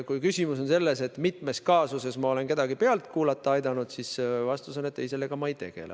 Kui küsimus on selles, mitmes kaasuses ma olen aidanud kedagi pealt kuulata, siis vastus on järgmine: ei, sellega ma ei tegele.